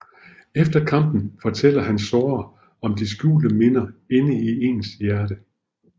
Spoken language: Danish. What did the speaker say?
Efter kampen fortæller han Sora om de skjulte minder inde i ens hjerte